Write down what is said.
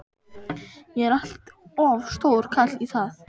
Ég er allt of stór karl í það.